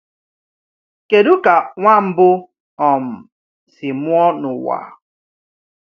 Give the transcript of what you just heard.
Kedu ka nwa mbụ um si mụọ n’ụwa?